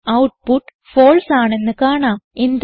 output false ആണെന്ന് കാണാം